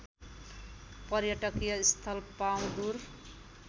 पर्यटकीय स्थल पाउँदुर